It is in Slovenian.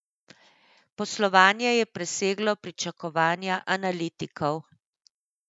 Poslovanje je preseglo pričakovanja analitikov.